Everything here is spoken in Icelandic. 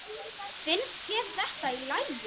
Finnst þér þetta í lagi?